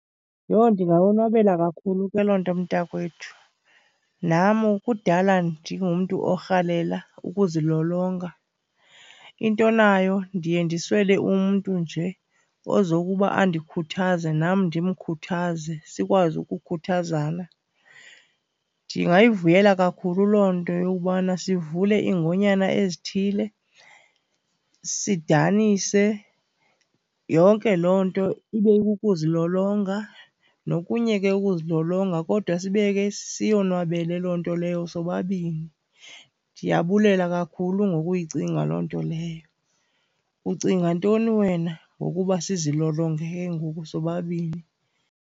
Yho! Ndingayonwabela kakhulu ke loo nto mntakwethu. Namu kudala ndingumntu orhalela ukuzilolonga, intonayo ndiye ndiswele umntu nje ozokuba andikhuthaze nam ndimkhuthaze, sikwazi ukukhuthazana. Ndingayivuyela kakhulu loo nto yobana sivule iingonyana ezithile, sidanise. Yonke loo nto ibe kukuzilolonga, nokunye ke ukuzilolonga kodwa sibe ke siyonwabele loo nto leyo sobabini. Ndiyabulela kakhulu ngokuyicinga loo nto leyo. Ucinga ntoni wena ngokuba sizilolonge ke ngoku sobabini?